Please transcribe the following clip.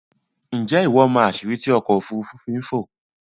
Ǹjé́ ìwọ mọ̀ àsìrí tí ọkò òfúrùfú fi ń fò?